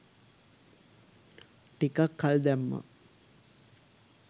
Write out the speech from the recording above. ටිකක් කල් දැම්මා.